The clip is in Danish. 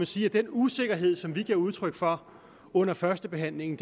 sige at den usikkerhed som vi gav udtryk for under førstebehandlingen